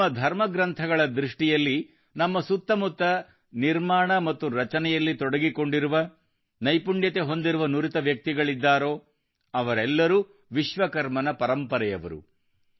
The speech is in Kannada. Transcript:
ನಮ್ಮ ಧರ್ಮಗ್ರಂಥಗಳ ದೃಷ್ಟಿಯಲ್ಲಿ ನಮ್ಮ ಸುತ್ತಮುತ್ತ ನಿರ್ಮಾಣ ಮತ್ತು ರಚನೆಯಲ್ಲಿ ತೊಡಗಿಕೊಂಡಿರುವ ನೈಪುಣ್ಯತೆ ಹೊಂದಿರುವ ನುರಿತ ವ್ಯಕ್ತಿಗಳಿದ್ದಾರೋ ಅವರೆಲ್ಲರೂ ವಿಶ್ವಕರ್ಮನ ಪರಂಪರೆಯವರು